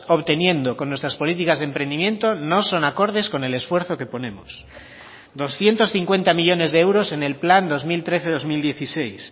obteniendo con nuestras políticas de emprendimiento no son acordes con el esfuerzo que ponemos doscientos cincuenta millónes de euros en el plan dos mil trece dos mil dieciséis